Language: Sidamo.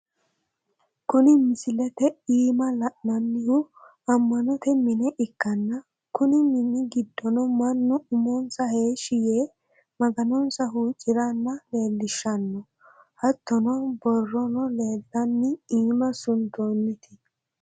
kuni misilete iima la'inannihu ammannote mine ikkanna kunni mini giddono mannu umonsa heeshshi yee maganonsa huucciranna leellishshano, hattono borrono leeltanno iim suntoonniti.